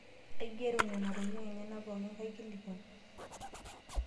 Aigero nena tokitin pookin enyenak kaikilikwan.